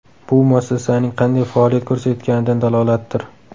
Bu muassasaning qanday faoliyat ko‘rsatayotganidan dalolatdir.